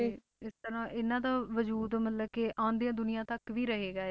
ਇਸ ਤਰ੍ਹਾਂ ਇਹਨਾਂ ਦਾ ਵਜੂਦ ਮਤਲਬ ਕਿ ਆਉਂਦੀਆਂ ਦੁਨੀਆਂ ਤੱਕ ਵੀ ਰਹੇਗਾ,